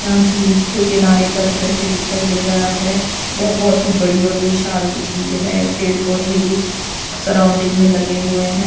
यहां झिल्स के किनारे का दृश्य दिखाई दे रहा है बहोत ही बड़ी और विशाल झील है पेड़ पौधे भी सराउंडिंग में लगे हुए है।